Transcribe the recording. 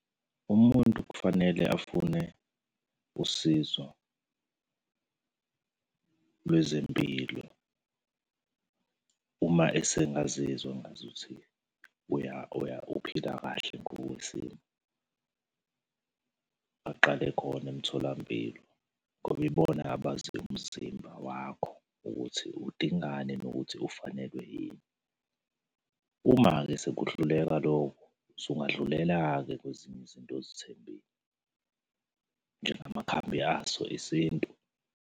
Umuntu kufanele afune usizo lwezempilo uma esengazizwa ngazuthi uphila kahle ngokwesimo. Aqale khona emtholampilo ngoba ibona abazi umzimba wakho ukuthi udingani, nokuthi ufanelwe yini. Uma-ke sekuhluleka lokho, sungadlulela-ke kwezinye izinto ozithembile njengamakhambi aso isintu.